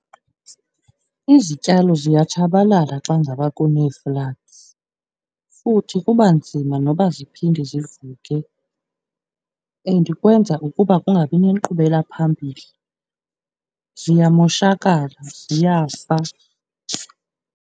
Izityalo ziyatshabalala xa ngaba kunee-floods, futhi kuba nzima noba ziphinde zivuke and kwenza ukuba kungabi nenkqubela phambili, ziyamoshakala ziyafa.